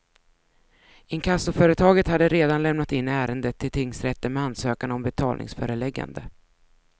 Inkassoföretaget hade redan lämnat in ärendet till tingsrätten med ansökan om betalningsföreläggande.